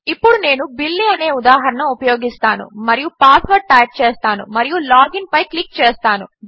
ఇప్పుడు నేను బిల్లీ అనే ఉదాహరణ ఉపయోగిస్తాను మరియు పాస్వర్డ్ టైప్ చేస్తాను మరియు లాగిన్ పై క్లిక్ చేస్తాను